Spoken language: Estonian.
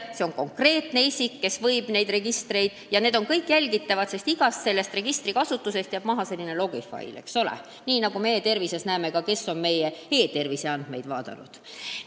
Tegu on konkreetse isikuga, kes võib neid registreid kasutada, ja see kõik on jälgitav: igast registrikasutusest jääb maha logifail, nii nagu me näeme ka e-tervises, kes on meie andmeid vaadanud.